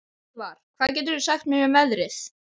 Hlífar, hvað geturðu sagt mér um veðrið?